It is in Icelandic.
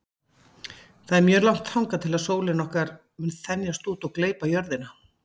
Það er mjög langt þangað til að sólin okkar mun þenjast út og gleypa jörðina.